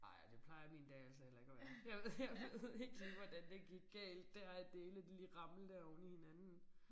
Nej og det plejer min dag altså heller ikke at være jeg ved jeg ved ikke lige hvordan det gik galt dér at det hele det lige ramlede der oveni hinanden